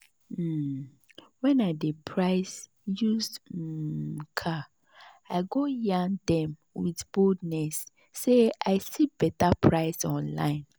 wen I dey price used [um]car I go yarn them with boldness say I see better price online